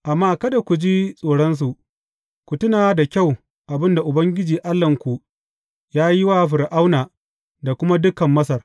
Amma kada ku ji tsoronsu; ku tuna da kyau abin da Ubangiji Allahnku ya yi wa Fir’auna da kuma dukan Masar.